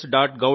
gov